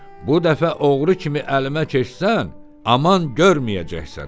Bu dəfə oğru kimi əlimə keçsən, aman görməyəcəksən!